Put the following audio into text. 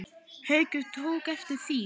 Haukur tók eftir því.